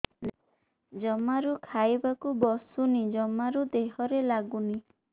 ଜମାରୁ ଖାଇବାକୁ ବସୁନି ଜମାରୁ ଦେହରେ ଲାଗୁନି